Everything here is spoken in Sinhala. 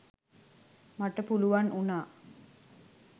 මට පුළුවන් වුණා